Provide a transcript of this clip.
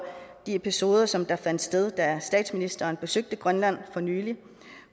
de episoder som fandt sted da statsministeren besøgte grønland for nylig